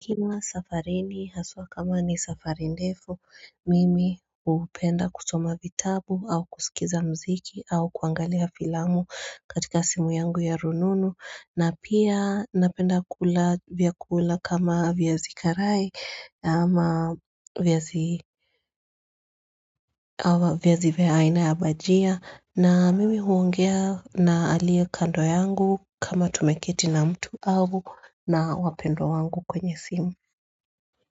Nikiwa safarini haswa kama ni safari ndefu mimi hupenda kusoma vitabu au kusikiza mziki au kuangalia filamu katika simu yangu ya rununu na pia napenda kula vyakula kama viazi karai ama viazi viazi vya aina ya bahajia na mimi huongea na alie kando yangu kama tumeketi na mtu au na wapendwa wangu kwenye simu.